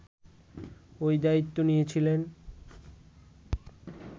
ওই দায়িত্ব নিয়েছিলেন